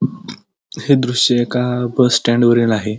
हे दृश एका बस स्टँड वरील आहे.